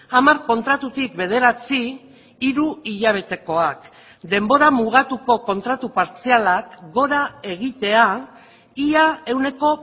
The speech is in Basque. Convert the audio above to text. hamar kontratutik bederatzi hiru hilabetekoak denbora mugatuko kontratu partzialak gora egitea ia ehuneko